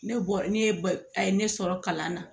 Ne bɔ ne ye a ye ne sɔrɔ kalan na